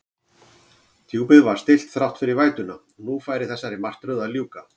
Djúpið var stillt þrátt fyrir vætuna, að nú færi þessari martröð að ljúka.